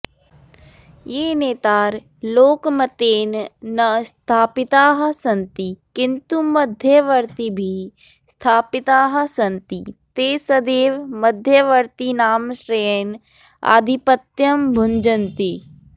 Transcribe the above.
ये नेतार लोकमतेन न स्थापितास्सन्ति किन्तु मध्यवर्तिभिर्स्थापितास्सन्ति ते सदैवे मध्यवर्तिनामाश्रयेण आधिपत्यं भुञ्जन्ति